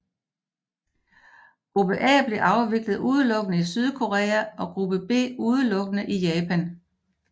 Gruppe A blev afviklet udelukkende i Sydkorea og Gruppe B udelukkende i Japan